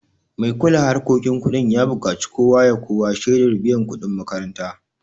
Mai kula harkokin kudin ya buƙaci kowa ya kawo shaidar biyan kuɗin makaranta